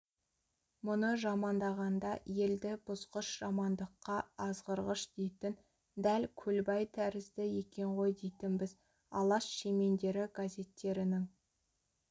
мұны жамандағанда елді бұзғыш жамандыққа азғырғыш дейтін дәл көлбай тәрізді екен ғой дейтінбіз алаш шемендері газеттерінің